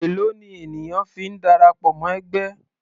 Èlòó ni ènìyàn fi ń darapọ̀ mọ́ ẹgbẹ́?